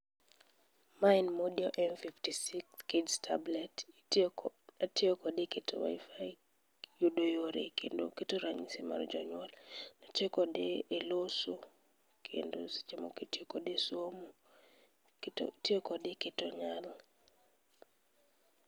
Ma en Modio M56 kids tablet. Itio ko itio kode e keto wifi yudo yore, kendo keto ranyisi mar jonyuol. kode e loso kendo seche moko itio kode e somo itio kode e keto nyal.